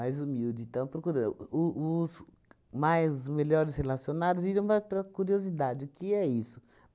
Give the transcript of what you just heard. Mais humilde. Então procuram. O os mais melhores relacionados iam mais para a curiosidade, o que é isso?